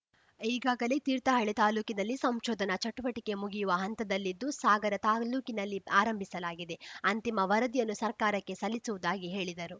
ಈಗಾಗಲೇ ತೀರ್ಥಹಳ್ಳಿ ತಾಲೂಕಿನಲ್ಲಿ ಸಂಶೋಧನಾ ಚಟುವಟಿಕೆ ಮುಗಿಯುವ ಹಂತದಲ್ಲಿದ್ದು ಸಾಗರ ತಾಲೂಕಿನಲ್ಲಿ ಆರಂಭಿಸಲಾಗಿದೆ ಅಂತಿಮ ವರದಿಯನ್ನು ಸರ್ಕಾರಕ್ಕೆ ಸಲ್ಲಿಸುವುದಾಗಿ ಹೇಳಿದರು